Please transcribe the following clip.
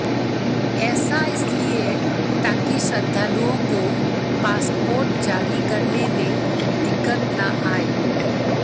ऐसा इसलिए ताकि श्रद्धालुओं को पासपोर्ट जारी करने में दिक्कत न आए